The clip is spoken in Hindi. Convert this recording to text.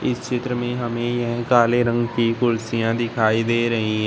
चित्र में हमें यह काले रंग की कुर्सियां दिखाई दे रही है।